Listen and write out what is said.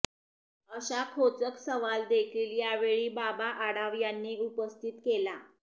अशा खोचक सवाल देखील यावेळी बाबा आढाव यांनी उपस्थित केला